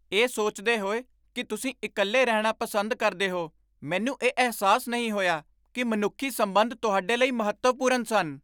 ਇਹ ਸੋਚਦੇ ਹੋਏ ਕਿ ਤੁਸੀਂ ਇਕੱਲੇ ਰਹਿਣਾ ਪਸੰਦ ਕਰਦੇ ਹੋ, ਮੈਨੂੰ ਇਹ ਅਹਿਸਾਸ ਨਹੀਂ ਹੋਇਆ ਕਿ ਮਨੁੱਖੀ ਸੰਬੰਧ ਤੁਹਾਡੇ ਲਈ ਮਹੱਤਵਪੂਰਨ ਸਨ।